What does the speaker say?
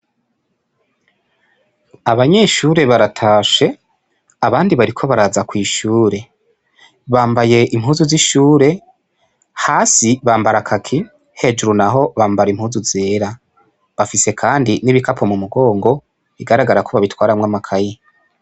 Abanyeshure baratashe abandi bariko baraza kw'ishure bambaye impuzu z'ishure hasi bambara kaki hejuru naho bambara impuzu zera, bafise kandi n'ibikapo mumugongo bigaragara ko babiitwaramwo amakaye.